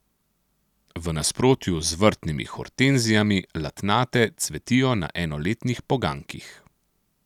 V nasprotju z vrtnimi hortenzijami latnate cvetijo na enoletnih poganjkih.